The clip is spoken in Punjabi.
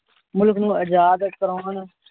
ਮੁਲਖ ਨੂੰ ਆਜਾਦ ਕਰੋਣ